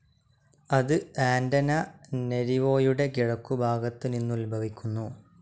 അത് ആന്റനാനരിവോയുടെ കിഴക്കുഭാഗത്ത് നിന്നുത്ഭവിക്കുന്നു.